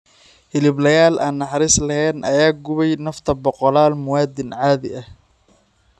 hiliblayaal aan naxariis lahayn ayaa gubay nafta boqolaal muwaadiniin caadi ah.